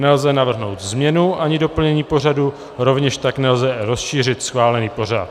Nelze navrhnout změnu ani doplnění pořadu, rovněž tak nelze rozšířit schválený pořad.